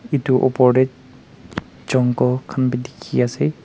edu opor tae jungle khan bi dikhiase.